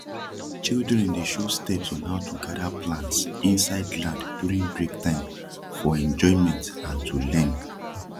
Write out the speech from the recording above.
children dey show steps on how to gada plants insid land during break time for enjoyment and to learn